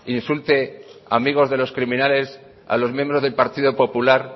insulte a amigos de los criminales a los miembros del partido popular